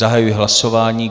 Zahajuji hlasování.